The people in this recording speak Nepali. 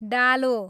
डालो